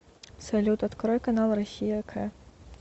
салют открой канал россия к